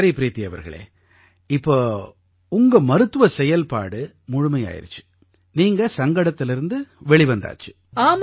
சரி ப்ரீதி அவர்களே இப்ப உங்களோட மருத்துவச் செயல்பாடு முழுமையாயிருச்சு நீங்க சங்கடத்திலிருந்து வெளிவந்தாச்சு